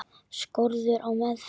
Skorður á meðferð hluta.